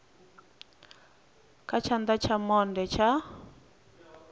kha tshana tsha monde tsha